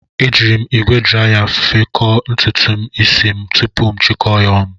E jiiri m ígwè draya fekọọ ntutu isi tupu m achikọọ ya ọnụ.